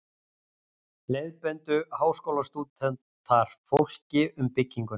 Leiðbeindu Háskólastúdentar fólki um bygginguna.